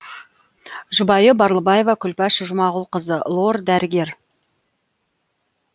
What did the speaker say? жұбайы барлыбаева күлпаш жұмағұлқызы лор дәрігер